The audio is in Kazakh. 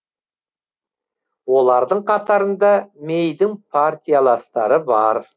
олардың қатарында мэйдің партияластары бар